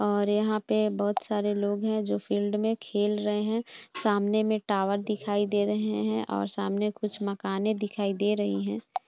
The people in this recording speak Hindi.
और यहाँ पे बहुत सारे लोग है जो फिल्ड में खेल रहे है सामने में टॉवर दिखाई दे रहे है और सामने कुछ मकाने दिखाई दे रही है।